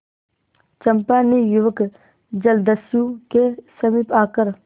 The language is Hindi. चंपा ने युवक जलदस्यु के समीप आकर